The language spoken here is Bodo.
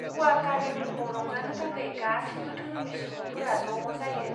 ग'वा कार्निभेलखौ रंजानो थाखाय गासैबो धोरोमनि सुबुंफोरा ज' जायो।